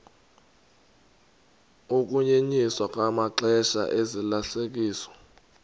ukunyenyiswa kwamaxesha ozalisekiso